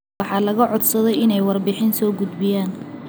Waxaa laga codsaday inay warbixin soo gudbiyaan.